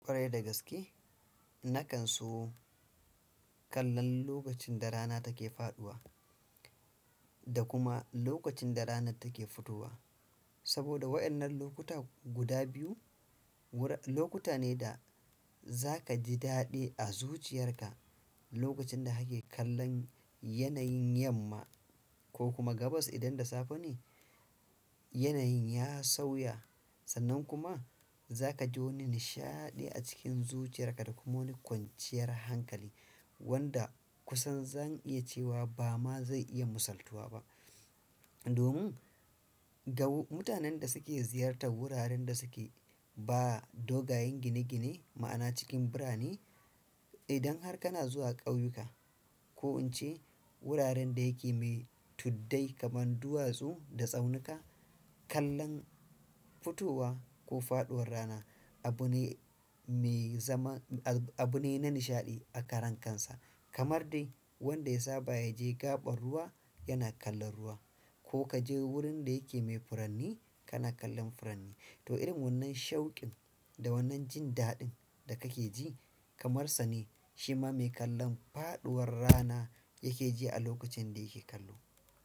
Kwarai da gaske, na kan so kallon lokacin da rana take faɗuwa da kuma lokacin da rana take fitowa. Saboda waƴannan lokuta guda biyu lokuta ne da za ka ji daɗi a zuciyarka. Lokacin hake kallon yanayin yamma ko kuma gabas indan da safe ne, yanayin ya sauya, sannan kuma zakaji wani nishaɗi acikin zuciyarka da kuma wani kwanciyar hankali wanda kusan zan iya cewa ba ma zai iya musaltuwa ba. Domin gau mutanen da suke ziyartar wuraren da suke ba dogayen gine-gine ma'ana cikin birane, idan har kana zuwa ƙauyuka ko in ce wuraren da yake mai tuddai kaman duwatsu da tsaunuka, kallon fitowa ko faɗuwar rana abu ne me zaman, abu ne na nishaɗi a karankansa. Kamar dai wanda ya saba ya je gaɓar ruwa yana kallon ruwa ko ka je wurin da yake mai furanni kana kallon furanni. To, irin wannan shaukin da wannan jin daɗin da kake ji kamar sa ne shi ma me kallon faɗuwar rana yake ji a lokacin da yake kallo.